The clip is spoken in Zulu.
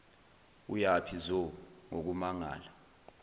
uyaphi zo ngokumangala